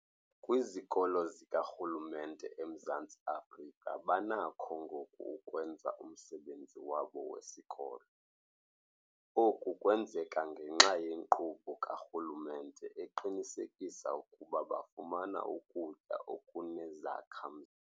Kwizikolo zikarhulumente eMzantsi Afrika banakho ngoku ukwenza umsebenzi wabo wesikolo. Oku kwenzeka ngenxa yenkqubo karhulumente eqinisekisa ukuba bafumana ukutya okunezakha-mzimba.